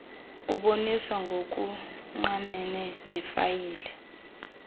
uboniswa ngokungqamene nefayile